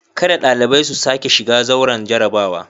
Kada dalibai su sake shiga zauren jarrabawa.